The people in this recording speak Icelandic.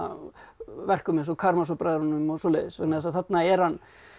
verkum eins og Karamazov bræðrunum og svoleiðis vegna þess að þarna er hann